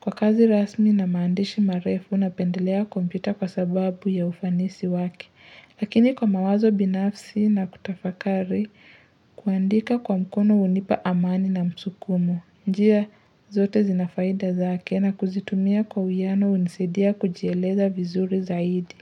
Kwa kazi rasmi na maandishi marefu, napendelea kompyuta kwa sababu ya ufanisi wake. Lakini kwa mawazo binafsi na kutafakari, kuandika kwa mkono hunipa amani na msukumo. Njia zote zinafaida zake na kuzitumia kwa uwiano hunisaidia kujieleza vizuri zaidi.